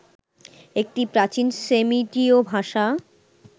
একটি প্রাচীন সেমিটীয় ভাষা